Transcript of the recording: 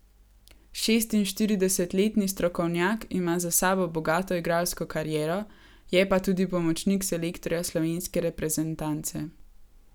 Šestinštiridesetletni strokovnjak ima za sabo bogato igralsko kariero, je pa tudi pomočnik selektorja slovenske reprezentance.